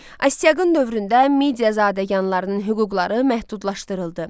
Astiaqın dövründə Midiyazadəganlarının hüquqları məhdudlaşdırıldı.